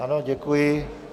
Ano, děkuji.